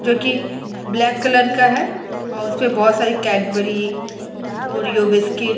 जो की black colour का है और उस पे बहुत सारी कैडबरी ओरीओ बिस्कुट --